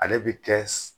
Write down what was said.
Ale bi kɛ